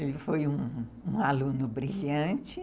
Ele foi um aluno brilhante.